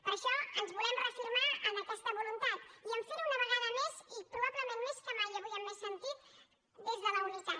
per això ens volem reafirmar en aquesta voluntat i a fer ho una vegada més i probablement més que mai avui i amb més sentit des de la unitat